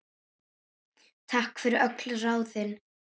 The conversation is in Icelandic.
Takk fyrir öll ráðin.